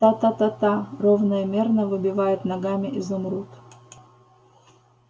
та-та-та-та ровно и мерно выбивает ногами изумруд